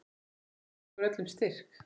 Guð gefi ykkur öllum styrk.